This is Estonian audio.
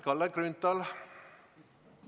Kalle Grünthal, palun!